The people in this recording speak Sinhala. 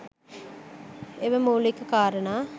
එම මුලික කාරනා